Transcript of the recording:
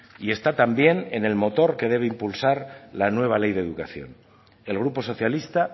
y está también en el motor que debe impulsar la nueva ley de educación el grupo socialista